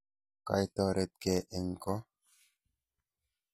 Kaitoretkey eng' ko?